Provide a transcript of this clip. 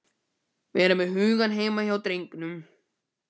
Vera með hugann heima hjá drengnum.